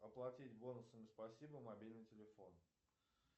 оплатить бонусами спасибо мобильный телефон